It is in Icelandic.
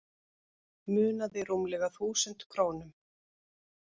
Munaði rúmlega þúsund krónum